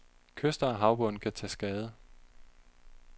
Kyster og havbund kan tage skade.